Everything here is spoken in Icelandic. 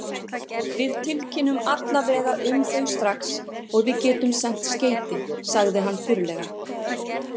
Við tilkynnum alla vega um þau strax og við getum sent skeyti, sagði hann þurrlega.